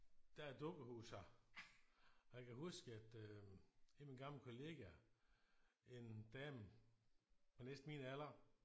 Der er et dukkehus her og jeg kan huske at øh en af mine gamle kollegaer en dame på næsten min alder